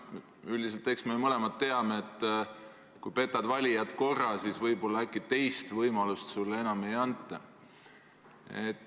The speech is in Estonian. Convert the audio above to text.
Ja eks me mõlemad teame, et kui petad valijat korra, siis võib-olla äkki teist võimalust sulle enam ei anta.